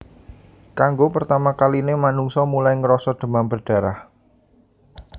Kanggo pertama kaline manungsa mulai ngrasa demam berdarah